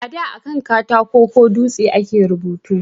A da akan katako ko dutse a ke rubutu